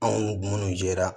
Anw minnu jɛra